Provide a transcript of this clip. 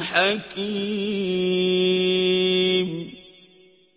حَكِيمٌ